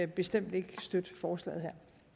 bestemt ikke støtte forslaget